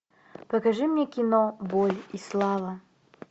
покажи мне кино боль и слава